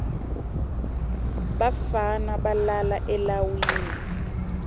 bafana balala eleiwini